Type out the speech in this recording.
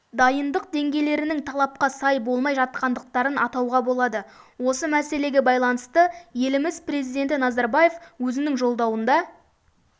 дайындық деңгейлерінің талапқа сай болмай жатқандықтарын атауға болады осы мәселеге байланысты еліміз президенті назарбаев өзінің жолдауында